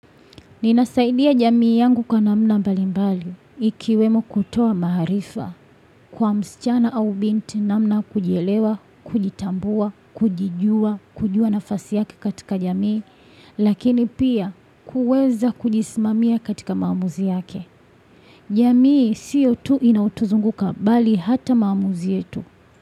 Ninasaidia jamii yangu kwa namna mbalimbali ikiwemo kutoa maarifa kwa msichana au binti namna kujielewa, kujitambua, kujijua, kujua nafasi yake katika jamii, lakini pia kuweza kujisimamia katika maamuzi yake. Jamii sio tu inaotuzunguka bali hata maamuzi yetu.